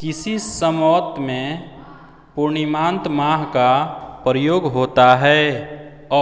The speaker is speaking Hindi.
किसी सम्वत में पूर्णिमांत माह का प्रयोग होता है